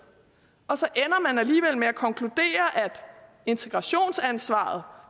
og så ender man alligevel med at konkludere at integrationsansvaret